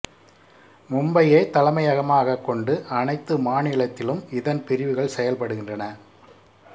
மும்பையை தலைமையகமாகக் கொண்டு அனைத்து மாநிலத்திலும் இதன் பிரிவுகள் செயல்படுகின்றன